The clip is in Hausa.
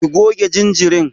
Ki goge jinjirin.